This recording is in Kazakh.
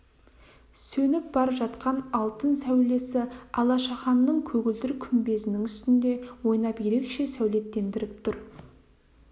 сөніп бар жатқан алтын сәулесі алашаханның көгілдір күмбезінің үстінде ойнап ерекше сәулеттендіріп тұр